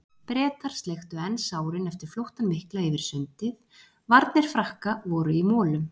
Bretar sleiktu enn sárin eftir flóttann mikla yfir sundið, varnir Frakka voru í molum.